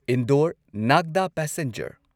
ꯏꯟꯗꯣꯔ ꯅꯥꯒꯗꯥ ꯄꯦꯁꯦꯟꯖꯔ